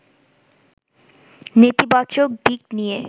নেতিবাচক দিক নিয়ে